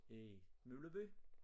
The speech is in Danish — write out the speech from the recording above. I Mølleby